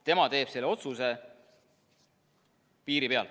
Tema teeb selle otsuse piiri peal.